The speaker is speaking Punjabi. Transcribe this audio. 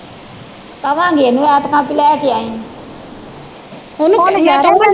ਕਵਾਗੇ ਇਹਨਾਂ ਨੂੰ ਐਤਕਾਂ ਕੇ ਲੈ ਕੇ ਆਈ